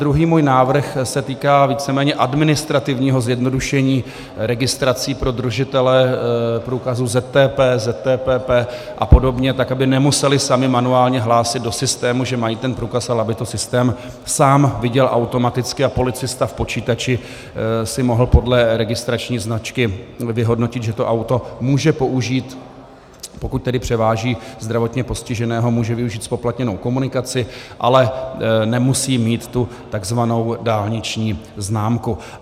Druhý můj návrh se týká víceméně administrativního zjednodušení registrací pro držitele průkazů ZTP, ZTPP a podobně, tak aby nemuseli sami manuálně hlásit do systému, že mají ten průkaz, ale aby to systém sám viděl automaticky a policista v počítači si mohl podle registrační značky vyhodnotit, že to auto může použít, pokud tedy převáží zdravotně postiženého, může využít zpoplatněnou komunikaci, ale nemusí mít tu tzv. dálniční známku.